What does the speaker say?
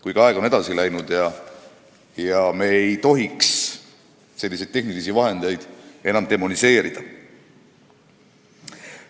Kuid aeg on edasi läinud ja me ei tohiks selliseid tehnilisi vahendeid enam demoniseerida.